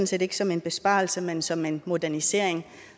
set ikke som en besparelse men som en modernisering